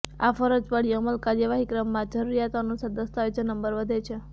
આ ફરજ પડી અમલ કાર્યવાહી ક્રમમાં જરૂરિયાતો અનુસાર દસ્તાવેજો નંબર વધે છે